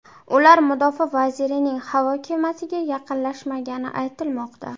Ular mudofaa vazirining havo kemasiga yaqinlashmagani aytilmoqda.